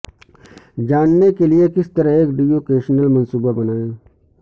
جاننے کے لئے کس طرح ایک ڈیوکیشنل منصوبہ بنائیں